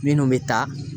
Minnu bɛ taa